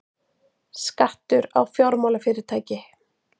Skattur á fjármálafyrirtæki